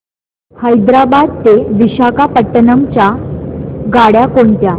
हैदराबाद ते विशाखापट्ण्णम च्या गाड्या कोणत्या